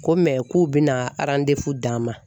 Ko k'u bɛna d'an ma.